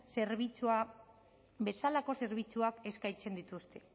zerbitzua bezalako zerbitzuak eskaintzen dituzte